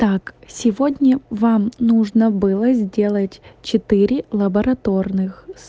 так сегодня вам нужно было сделать четыре лабораторных с